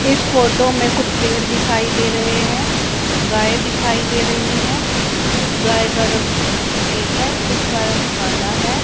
इस फोटो में कुछ पेड़ दिखाई दे रहें हैं। गाय दिखाई दे रहीं हैं कुछ गाय का रंग सफेद हैं कुछ का रंग काला हैं।